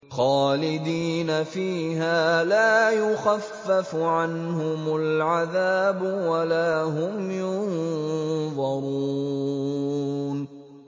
خَالِدِينَ فِيهَا لَا يُخَفَّفُ عَنْهُمُ الْعَذَابُ وَلَا هُمْ يُنظَرُونَ